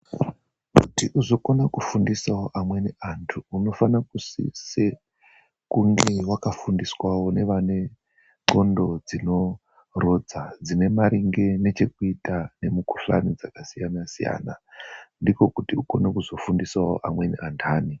Kuti uzokona kufundisawo amweni anthu, unofane kusise kunge wakafundiswawo nevane nqondo dzinorodza dzine maringe nechekuita nemukhuhlani dzakasiyana-siyana. Ndiko kuti ukone kuzofundisawo amweni anthani.